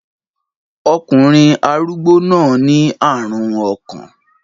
Ọkùnrin arúgbó náà ní àrùn ọkàn.